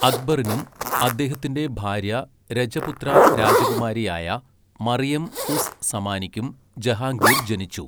അക്ബറിനും അദ്ദേഹത്തിന്റെ ഭാര്യ രജപുത്ര രാജകുമാരിയായ മറിയം ഉസ് സമാനിക്കും ജഹാംഗീർ ജനിച്ചു.